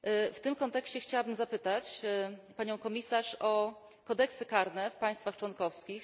W tym kontekście chciałbym zapytać panią komisarz o kodeksy karne w państwach członkowskich.